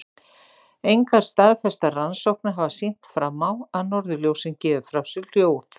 Engar staðfestar rannsóknir hafa sýnt fram á að norðurljósin gefi frá sér hljóð.